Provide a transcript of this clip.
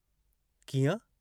"कीअं?